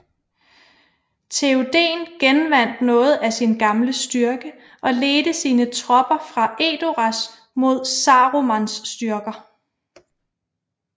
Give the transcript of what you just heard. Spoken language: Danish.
Théoden genvandt noget af sin gamle styrke og ledte sine tropper fra Edoras mod Sarumans styrker